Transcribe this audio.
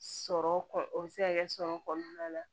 Sɔrɔ kɔ o bɛ se ka kɛ sɔrɔ kɔnɔna na